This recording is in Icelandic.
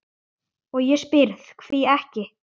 og ég spyr: hví ekki?